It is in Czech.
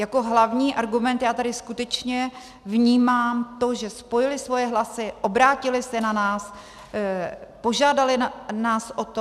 Jako hlavní argument já tady skutečně vnímám to, že spojili svoje hlasy, obrátili se na nás, požádali nás o to.